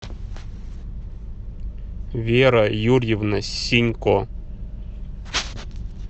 вера юрьевна синько